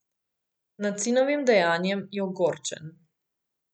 Nad sinovim dejanjem je ogorčen.